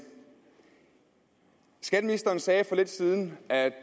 skatteministeren sagde for lidt siden at